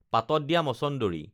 পাতত দিয়া মছন্দৰী